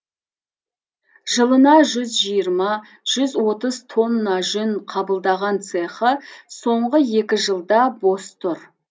жылына жүз жиырма жүз отыз тонна жүн қабылдаған цехы соңғы екі жылда бос тұр